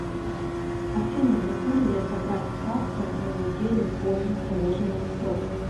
афина могу ли я забрать карту на неделю позже положенного срока